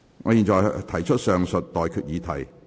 我現在向各位提出上述待決議題。